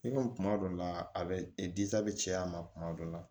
I komi kuma dɔ la a bɛ bɛ caya a ma kuma dɔ la